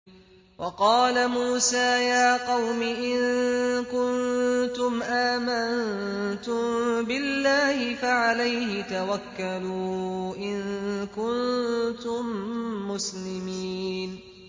وَقَالَ مُوسَىٰ يَا قَوْمِ إِن كُنتُمْ آمَنتُم بِاللَّهِ فَعَلَيْهِ تَوَكَّلُوا إِن كُنتُم مُّسْلِمِينَ